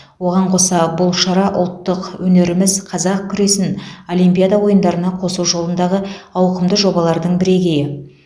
оған қоса бұл шара ұлттық өнеріміз қазақ күресін олимпиада ойындарына қосу жолындағы ауқымды жобалардың бірегейі